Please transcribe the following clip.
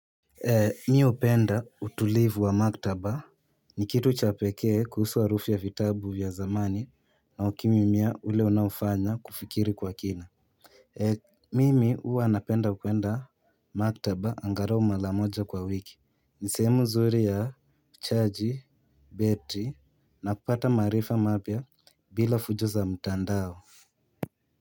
Mi upenda utulivu wa maktaba, ni kitu chapekee kuhusu wa harufu ya vitabu ya zamani na wakimimia ule unafanya kufikiri kwa kina Mimi uwa anapenda kwenda maktaba angalau mara moja kwa wiki, nisehemu nzuri ya kuchaji, betri na kupata maarifa mapya bila fujo za mtandao.